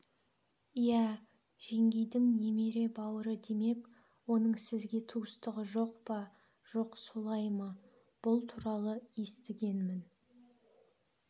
иә жеңгейдің немере бауыры демек оның сізге туыстығы жоқ па жоқ солай ма бұл туралы естігенмін